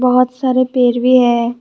बहोत सारे पेड़ भी है।